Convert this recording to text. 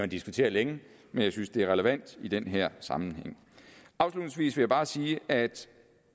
diskutere længe men jeg synes det er relevant i den her sammenhæng afslutningsvis vil jeg bare sige at